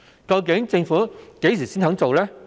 究竟政府何時才肯做？